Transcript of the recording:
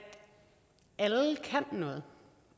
alle kan noget